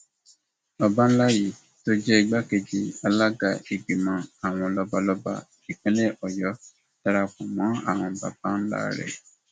olùdámọràn pàtàkì fún gómìnà lórí ọrọ ètò ẹkọ onírèbù jamiu oláwómí ló sọ eléyìí di mímọ